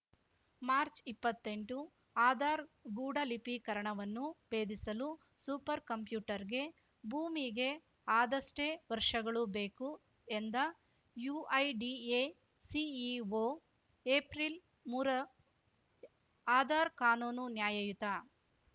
ಮಾರ್ಚ್ಇಪ್ಪತ್ತೆಂಟು ಆಧಾರ್ ಗೂಢಲಿಪೀಕರಣವನ್ನು ಬೇಧಿಸಲು ಸೂಪರ್‌ ಕಂಪ್ಯೂಟರ್‌ಗೆ ಭೂಮಿಗೆ ಆದಷ್ಟೇ ವರ್ಷಗಳು ಬೇಕು ಎಂದ ಯುಐಡಿಎ ಸಿಇಒ ಏಪ್ರಿಲ್ಮೂರ ಆಧಾರ್‌ ಕಾನೂನು ನ್ಯಾಯಯುತ